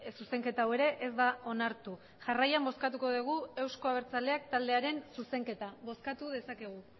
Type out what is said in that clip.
zuzenketa hau ere ez da onartu jarraian bozkatuko dugu euzko abertzaleak taldearen zuzenketa bozkatu dezakegu